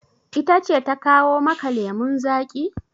Ita ce ta kawo maka lemun zaƙi?